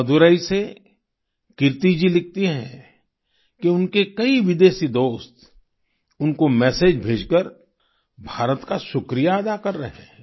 मदुरै से कीर्ति जी लिखती हैं कि उनके कई विदेशी दोस्त उनको मेसेज मैसेज भेजकर भारत का शुक्रिया अदा कर रहे हैं